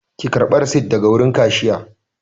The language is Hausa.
Ki karɓa risit daga wurin kashiya!